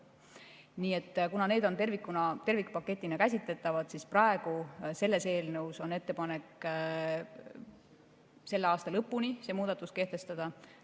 Nii et kuna need on käsitletavad tervikpaketina, siis selles eelnõus on ettepanek see muudatus kehtestada selle aasta lõpuni.